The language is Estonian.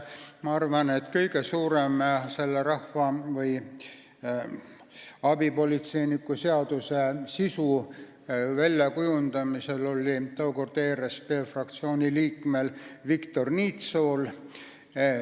Ma arvan, et kõige suurem osa selle rahvamaleva või abipolitseiniku seaduse sisu väljakujundamisel oli tookordsel ERSP fraktsiooni liikmel Viktor Niitsool.